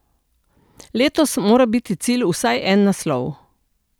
Letos mora biti cilj vsaj en naslov.